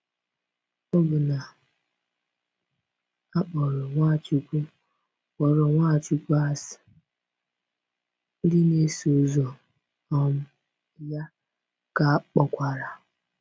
Ọbụna a kpọrọ Nwachukwu kpọrọ Nwachukwu asị, ndị na-eso ụzọ um ya ka a kpọkwara.